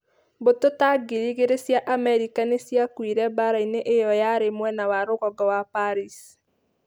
Mbũtũ ta 2,000 cia Amerika nĩ ciakuire mbaara-inĩ ĩyo yarĩ mwena wa rũgongo wa Paris.